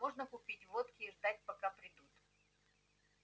можно купить водки и ждать пока придут